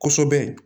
Kosɛbɛ